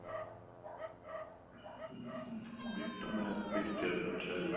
bit map picture ਅੱਛਾ ਜੀ